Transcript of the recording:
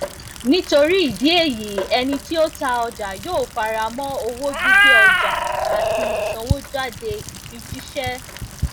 nítorí ìdí èyí ẹnití o ta ọjà yóó faramọ owó gbígbé ọjà àti isanwojade ìfijìṣẹ